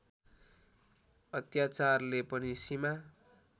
अत्याचारले पनि सीमा